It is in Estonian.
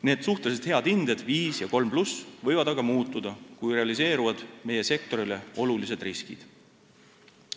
Need suhteliselt head hinded – viis ja kolm pluss – võivad aga muutuda, kui realiseeruvad meie sektorile olulised riskid.